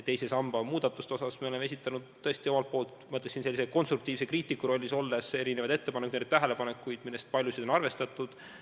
Teise samba muudatuste kohta me oleme tõesti esitanud omalt poolt, ma ütleksin, konstruktiivse kriitiku rollis olles, erinevaid ettepanekuid, erinevaid tähelepanekuid, millest paljusid on arvestatud.